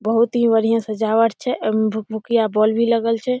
बहुत ही बढ़िया सजावट छै ए में भूकभुकिया बोल भी लगल छै ।